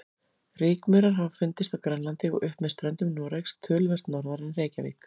Rykmaurar hafa fundist á Grænlandi og upp með ströndum Noregs, töluvert norðar en Reykjavík.